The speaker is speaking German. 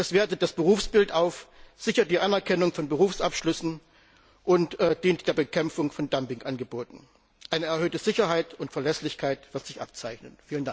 Das wertet das Berufsbild auf, sichert die Anerkennung von Berufsabschlüssen und dient der Bekämpfung von Dumpingangeboten. Eine erhöhte Sicherheit und Verlässlichkeit wird sich abzeichnen.